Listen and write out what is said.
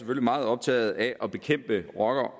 meget optaget af at bekæmpe rocker